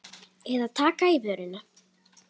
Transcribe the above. Eða taka í vörina.